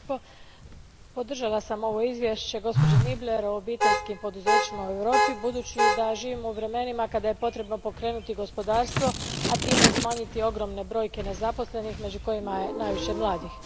Gospodine predsjedniče, podržala sam ovo izvješće gospođe Niebler o obiteljskim poduzećima u Europi budući da živimo u vremenima kada je potrebno pokrenuti gospodarstvo, a time i smanjiti ogromne brojke nezaposlenih među kojima je najviše mladih.